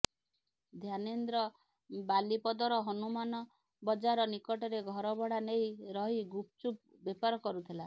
ଧ୍ୟାନେନ୍ଦ୍ର ବାଲିପଦର ହନୁମାନ ବଜାର ନିକଟରେ ଘର ଭଡା ନେଇ ରହି ଗୁପଚୁପ ବେପାର କରୁଥିଲା